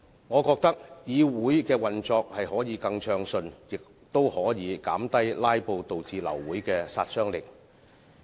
我覺得這樣會令議會的運作更暢順，亦可以減低"拉布"導致流會的殺傷力。